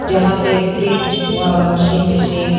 जहां पे fridge washing machine --